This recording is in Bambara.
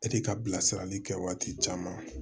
E de ka bilasirali kɛ waati caman